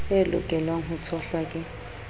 e lokelwang ho tshohlwa ke